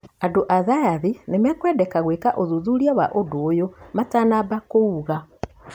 Andũ a thayathi nĩmekwendeka gwĩka ũthuthuria wa ũndũ ũyũ matanamba kũwuga.